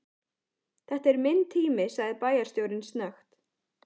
Þetta er minn tími sagði bæjarstjórinn snöggt.